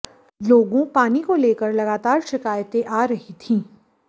लोगों पानी को लेकर लगातार शिकायतें आ रही थीं